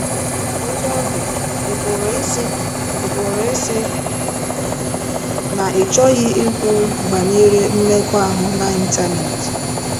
” Otú ọ dị, ị pụrụ ịsị ị pụrụ ịsị na ị chọghị ikwu banyere mmekọahụ n'Ịntanet.